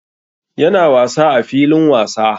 Ya na wasa a filin wasa